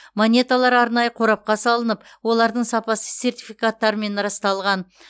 монеталар арнайы қорапқа салынып олардың сапасы сертификаттарпен расталған